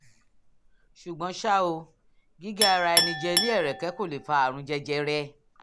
ṣùgbọ́n ṣá o gígé ara rẹ jẹ ní ẹ̀rẹ̀kẹ́ kò lè fa àrùn jẹjẹrẹ